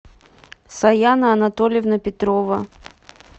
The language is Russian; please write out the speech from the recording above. саяна анатольевна петрова